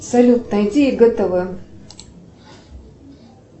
салют найди гтв